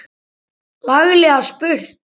Laglega spurt!